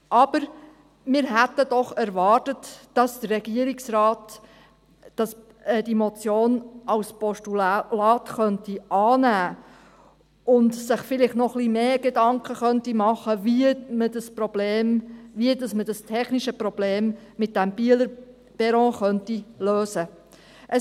Aber wir hätten doch erwartet, dass der Regierungsrat diese Motion als Postulat annimmt und sich vielleicht noch etwas mehr Gedanken macht, wie man das technische Problem mit dem Bieler Perron lösen könnte.